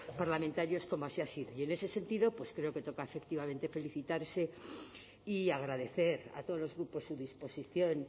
parlamentarios como así ha sido y en ese sentido pues creo que toca efectivamente felicitar y agradecer a todos los grupos su disposición